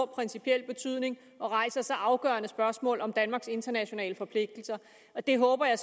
principiel betydning og rejser så afgørende spørgsmål om danmarks internationale forpligtelser det håber jeg